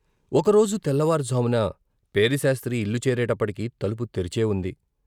ఒకరోజు తెల్లవారుజామున పేరిశాస్త్రి ఇల్లు చేరేటప్పటికి తలుపు తెరిచే ఉంది.